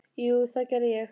Jú, það gerði ég.